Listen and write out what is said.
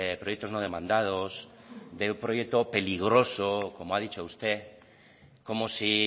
proyectos no demandados de un proyecto peligroso como ha dicho usted como si